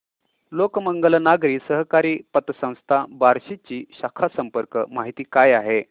लोकमंगल नागरी सहकारी पतसंस्था बार्शी ची शाखा संपर्क माहिती काय आहे